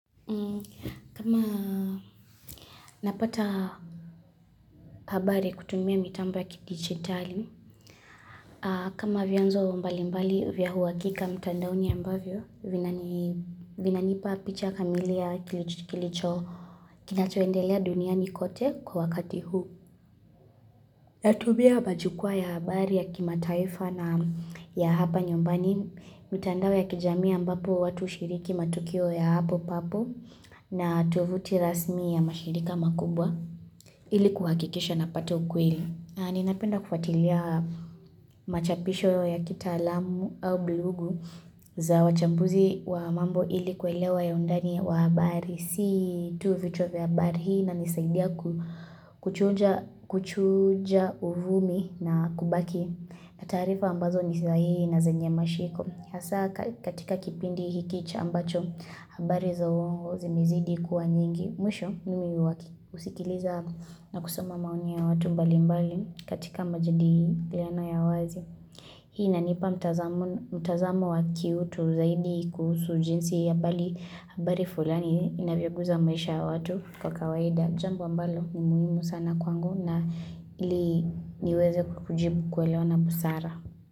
Kama napata habari kutumia mitambo ya kidigitali kama vyanzo mbali mbali vya huwakika mtandaoni ya ambavyo vinanipa picha kamili ya kilicho kinachoendelea duniani kote kwa wakati huu Natumia majukwaa ya habari ya kimataifa na ya hapa nyumbani mitandao ya kijamii ambapo watu ushiriki matukio ya hapo papo na tovuti rasmi ya mashirika makubwa ili kuhakikisha na pata kweli. Na napenda kufatilia machapisho ya kita alamu au blogu za wachambuzi wa mambo ili kwelewa ya undani wa habari. Si tu vichwa vya habari hii inanisaidia kuchuja uvumi na kubaki na taarifa ambazo nisahii na zenye mashiko. Hasa katika kipindi hikicha ambacho habari za uongo zimezidi kuwa nyingi. Mwisho ni husikiliza na kusoma maoni ya watu mbali mbali katika majadiliano ya wazi. Hii ina nipa mtazamo wa ki utu zaidi kuhusu jinsi ya bali. Habari fulani inavyoguza maisha ya watu kwa kawaida. Jambo ambalo ni muhimu sana kwangu na ili niweze kujibu kuelewa na busara.